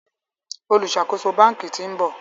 oluṣakoso bánkì t'in bò.